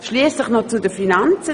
Schliesslich noch zu den Finanzen.